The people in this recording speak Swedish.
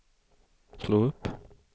slå upp